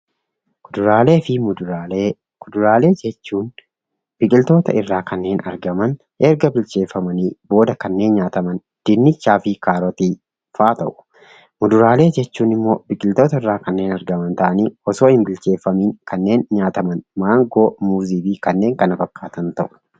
Kuduraalee fi muduraalee. Kuduraalee jechuun biqiltoota irraa kanneen argaman erga bilcheeffamanii booda kanneen nyaataman: dinnichaa fi kaarotiifaa ta'u. Fuduraalee jechuun immoo biqiltootarraa kanneen argaman ta'anii osoo hin bilcheeffamiin kanneen nyaataman: maangoo, muuzii fi kanneen kana fakkaatan ta'u.